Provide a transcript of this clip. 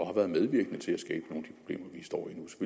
har været medvirkende til at skabe nogle